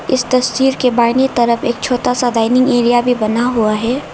इस तस्वीर के बहिनी तरफ एक छोटा सा डायनिंग एरिया भी बना हुआ है।